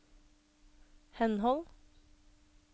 henhold